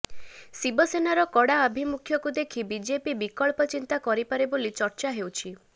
ଶିବସେନାର କଡା ଆଭିମୁଖ୍ୟକୁ ଦେଖି ବିଜେପି ବିକଳ୍ପ ଚିନ୍ତା କରିପାରେ ବୋଲି ଚର୍ଚ୍ଚା ହେଉଛି